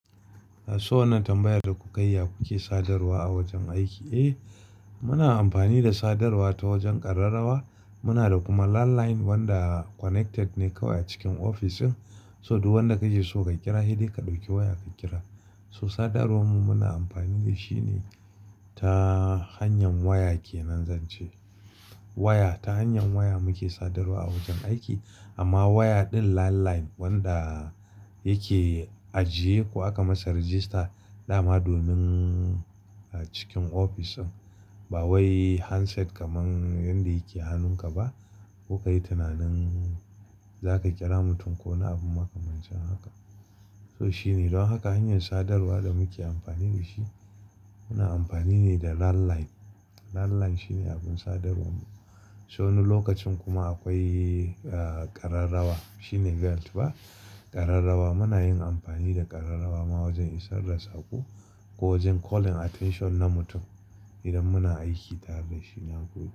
So wannan tambayar da kuka yi, ya ku ke sadarwa a wajen aiki? Eh, muna amfani da sadarwa ta wajen ƙararrawa. Muna da kuma landline wanda connected ne kawai a cikin ofis. So duk wanda kaje so ka kira, sai dai ka ɗauki waya ka kira. So sadarwar mu muna amfani da shi ne ta hanyar waya ke nan zan ce. Waya, ta hanyar waya muke sadarwa a wajen aiki. Amma waya ɗin landline wanda yake ajiye ko aka masa register dama domin a cikin ofis ɗin ba wai handset kaman wanda yake a hannun ka ba. Ko ka yi tunanin za ka ƙira mutum wani abu makamancin haka. So shi ne don haka hanyar sadarwa da muke amfani da shi, muna amfani ne da landline. Landline shine abin sadarwar mu. So wani lokacin kuma akwai ƙararrawa. Shi ne bell ba, ƙararrawa muna yin amfani da ƙararrawa ma wajen isar da sako ko wajen calling attention na mutum idan muna aiki tare da shi nan gobe.